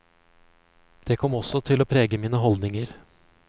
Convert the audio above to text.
Det kom også til å prege mine holdninger.